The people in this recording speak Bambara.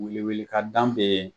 Welewele ka dan bɛɛ